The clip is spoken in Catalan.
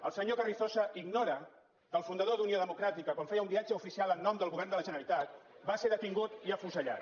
el senyor carrizosa ignora que el fundador d’unió democràtica quan feia un viatge oficial en nom del govern de la generalitat va ser detingut i afusellat